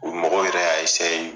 O mɔgɔw yɛrɛ y' a esaye